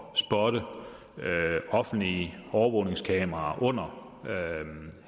spotte offentlige overvågningskameraer under